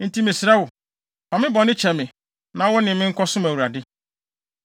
Enti mesrɛ wo, fa me bɔne kyɛ me na wo ne me nkɔsom Awurade.”